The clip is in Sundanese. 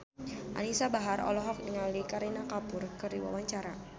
Anisa Bahar olohok ningali Kareena Kapoor keur diwawancara